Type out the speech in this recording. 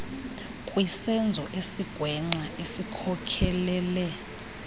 kwisenzo esigwenxa esikhokelele